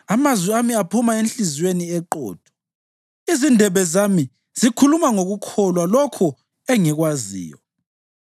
Amazwi ami aphuma enhliziyweni eqotho; izindebe zami zikhuluma ngokukholwa lokho engikwaziyo.